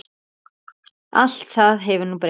Allt það hefur nú breyst.